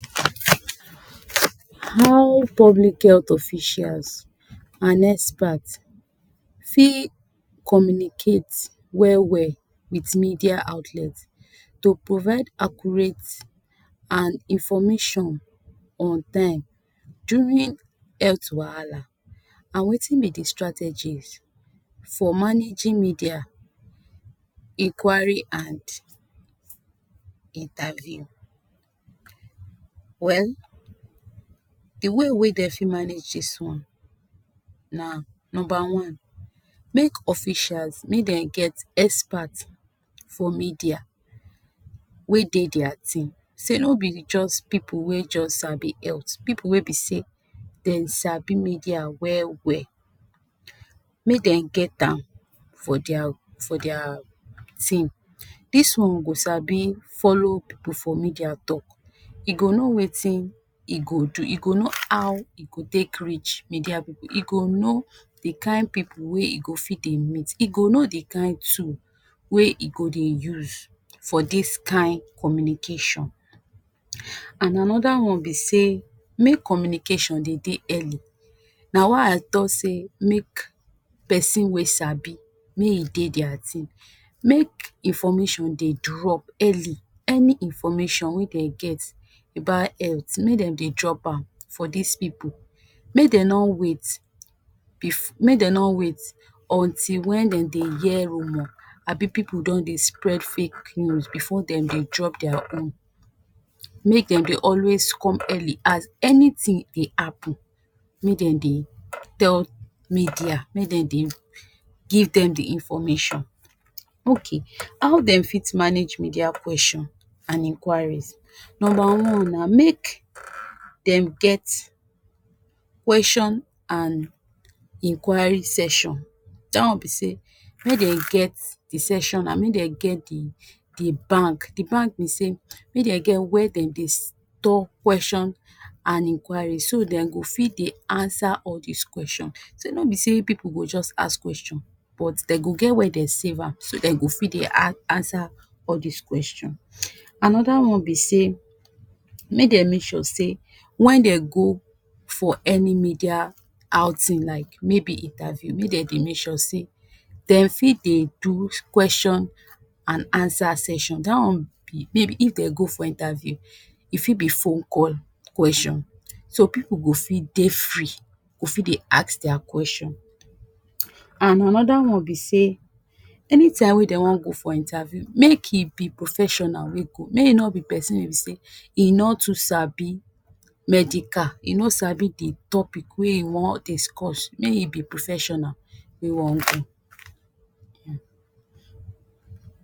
How public health officials and expert see communicate well well with media outlet to provide accurate and information on time during health wahala and wetin be de strategy for managing media enquiry and interview well de way wey dem fit manage this one number_one make officials make dem get expert for media wey dey deir team sey no be de just pipu wey just sabi health pipu wey be say dem sabi media well well make dem get am for deir for deir team this one go sabi follow pipu for media talk e go know wetin e go do e go know how e go take reach media pipu e go know de kain pipu wey e go fit dey meet e go know de kind two wey e go dey use for dis kain communication and anoder one be sey make communication dey dey early na why i talk say make person wey sabi make e dey deir thing make information dey drop early any information wey dey get about health make dem dey drop am for this pipu make dem no wait bef make dem no wait until when dem dey get roomo abi pipu don dey spread fake news before dem dey drop deir own make dem dey always come early as anything e dey happen make dem dey tell media make dem dey give dem de information okay how dem fit manage media question and inquiries number_one na make um dem get question and inquiry session that one be sey make dey get de decision make dey get de, de bank de bank be sey make dem get where dem dey talk questions and inquiry so dem go fit dey answer all this question sey no be sey pipu go just ask question but dem go get where dem save am so dem go fit dey answer all this question anoder one be sey make dem make sure sey when dem go for any media outing like maybe interview make dem dey make sure sey dem fit dey do question and answer sesion that one may be if dem go for interview e fit be phone call question so pipu go fit dey free we fit dey ask deir question and anoder one be sey anytime wey dey wan go for interview make e be professional wey go make e no be person wey be sey medica e no sabi dey topic wey e wan discuss make e be professional wey e wan go.